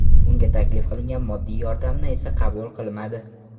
Unga taklif qilingan moddiy yordamni esa qabul qilmadi.